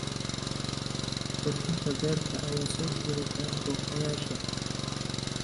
Qurxinta beerta ayaa soo jiidata booqdayaasha.